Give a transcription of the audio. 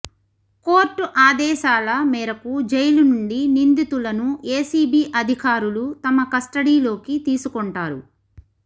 court ఆదేశాల మేరకు జైలు నుండి నిందితులను ఏసీబీ అధికారులు తమ కస్టడీలోకి తీసుకొంటారు